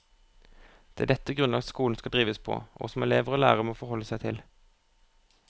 Det er dette grunnlag skolen skal drives på, og som elever og lærere må forholde seg til.